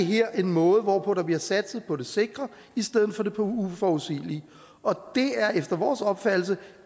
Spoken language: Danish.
det her en måde hvorpå der bliver satset på det sikre i stedet for på det uforudsigelige og det er efter vores opfattelse